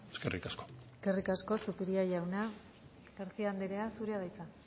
eskerrik asko eskerrik asko zupiria jauna garcía anderea zurea da hitza